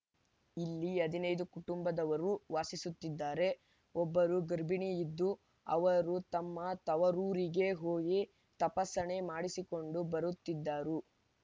ಇಲ್ಲಿ ಹದಿನೈದು ಕುಟುಂಬದವರು ವಾಸಿಸುತ್ತಿದ್ದಾರೆ ಒಬ್ಬರು ಗರ್ಭಿಣಿಯಿದ್ದು ಅವರು ತಮ್ಮ ತವರೂರಿಗೆ ಹೋಗಿ ತಪಾಸಣೆ ಮಾಡಿಸಿಕೊಂಡು ಬರುತ್ತಿದ್ದರು